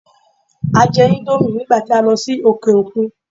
A jẹ íńdómì nígbà tí a lọ sí òkè òkun.